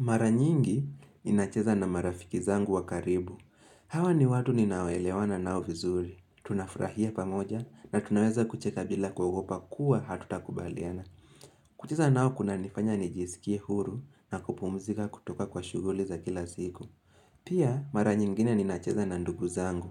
Mara nyingi ninacheza na marafiki zangu wa karibu. Hawa ni watu ninaoelewana nao vizuri. Tunafurahia pamoja na tunaweza kucheka bila kuogopa kuwa hatutakubaliana. Kucheza nao kunanifanya nijisikie huru na kupumzika kutoka kwa shughuli za kila siku. Pia mara nyingine ninacheza na ndugu zangu.